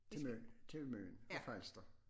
Til Møn til Møn og Falster